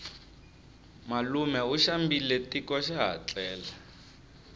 malume u xambile tiko xaha tlele